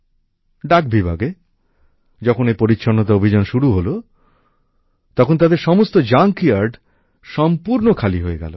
ডাক বিভাগে যখন এই পরিচ্ছন্নতা অভিযান শুরু হলো তখন তাদের সমস্ত জাঙ্ক ইয়ার্ড সম্পূর্ণ খালি হয়ে গেলো